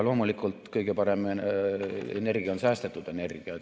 Loomulikult, kõige parem energia on säästetud energia.